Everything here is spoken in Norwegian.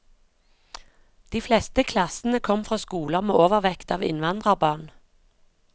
De fleste klassene kom fra skoler med overvekt av innvandrerbarn.